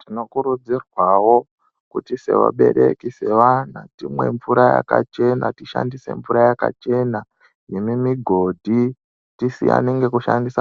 Tinokurudzirwawo kuti sevabereki time mvura yakachena tishandise mvura yakachena yemimigodhi time